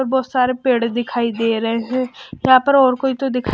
और बहुत सारे पेड़ दिखाई दे रहे हैं यहां पर और कोई तो दिख--